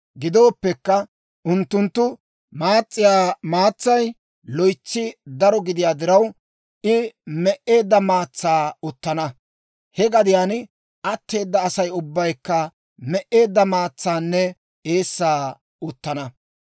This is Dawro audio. Gidooppekka, unttunttu maas's'iyaa maatsay loytsi daro gidiyaa diraw, I me"eedda maatsaa uttana; he gadiyaan atteeda Asay ubbaykka me"eedda maatsaanne eessaa uttana.